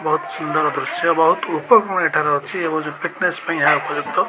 ବହୁତ୍ ସୁନ୍ଦର ଦୃଶ୍ୟ ବହୁତ୍ ଉପକରଣ ଏଠାରେ ଅଛି ଏବଂ ଯୋଉ ଫିଟନେସ୍ ପାଇଁ ଏହା ଉପଯୁକ୍ତ।